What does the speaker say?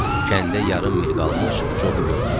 Kəndə yarım mil qalmış Cobu gördük.